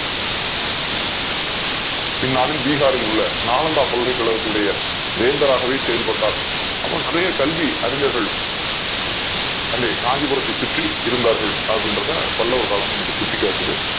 பின் நாளில் பீகாரில் உள்ள நாலந்தா பல்கலைகளகத்தில் வேந்தராகவே செயல்பட்டார் அப்பரம் நிறைய கல்வி அறிஞர்கள் அங்கே காஞ்சிபுரத்தை சுற்றி இருந்தார்கள் அப்டிங்ரத பல்லவ காலம் சுட்டி காட்டுது